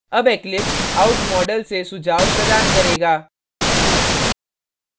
अब eclipse out module से सुझाव प्रदान करेगा